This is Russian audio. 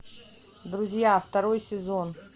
друзья второй сезон